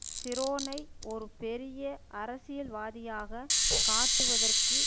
ஷிரோனை ஒரு பெரிய அரசியல்வாதியாக காட்டுவதற்கு